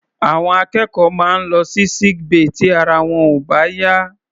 Àwọn akẹ́kọ̀ọ́ máa ń lọ sí sick bay tí ara wọn ò bá yá.